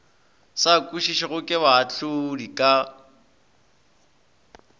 sa kwešišwego ke baahlodi ka